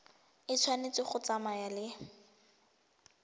e tshwanetse go tsamaya le